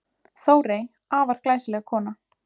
Þórey, afar glæsileg kona.